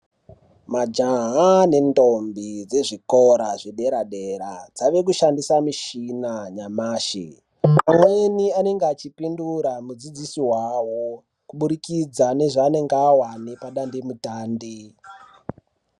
Majaha nendombi dzezvikora zvedera dera dzave kushandisa michina nyamashi amweni anenge achipindura mudzidzisi wawo kuburikidza nezvaanenge awana pada ndemutande